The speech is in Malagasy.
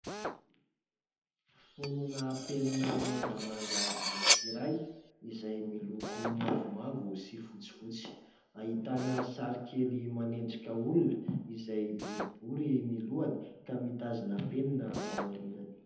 Fonona penina mangamanga anankiray, izay miloko mavomavo sy fotsifotsy, ahitana sary kely manendrika olona izay boribory ny lohany ka mitazona penina aorinany.